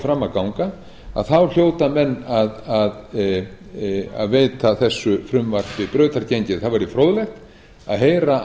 fram að ganga að þá hljóta menn að veita þessu frumvarpi brautargengi það væri fróðlegt að heyra